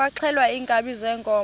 kwaxhelwa iinkabi zeenkomo